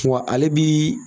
ale bi